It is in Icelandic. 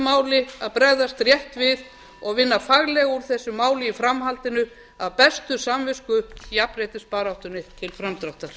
máli að bregðast rétt við og vinna faglega úr þessu máli í framhaldinu af bestu samvisku jafnréttisbaráttunni til framdráttar